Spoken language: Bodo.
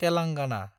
तेलांगाना